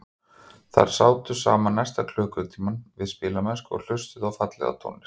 Þau sátu saman næstu klukkutímana við spilamennsku og hlustuðu á fallega tónlist.